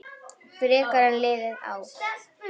Frekar en liðin ár.